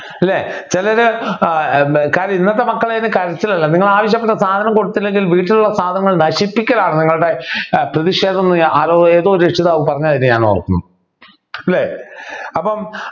അല്ലെ ചിലര് ഏർ എന്താ കാരണം ഇന്നത്തെ മക്കളുടെ കരച്ചിൽ അല്ല നിങ്ങൾ ആവശ്യപ്പെട്ട സാധനം കൊടുത്തില്ലെങ്കിൽ വീട്ടിലുള്ള സാധനങ്ങൾ നശിപ്പിക്കലാണ് നിങ്ങളുടെ ഏർ പ്രതിഷേധം ഞാൻ ആരോ ഏതൊരു രക്ഷിതാവ് പറഞ്ഞതായിട്ട് ഞാൻ ഓർക്കുന്നു അല്ലേ അപ്പൊ